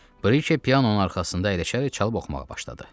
Briki pianonun arxasında əyləşərək çalıb oxumağa başladı.